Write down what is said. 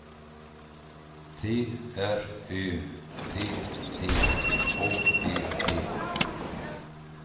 T R Ö T T H E T